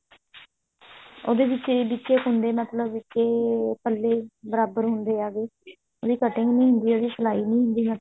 ਉਹਦੇ ਵਿੱਚ ਹੀ ਵਿੱਚ ਹੀ ਕੁੰਡੇ ਮਤਲਬ ਕੇ ਪੱਲੇ ਬਰਾਬਰ ਹੁੰਦੇ ਆ ਉਹਦੀ cutting ਨੀ ਹੁੰਦੀ ਉਹਦੀ ਸਲਾਈ ਹੁੰਦੀ ਹੈ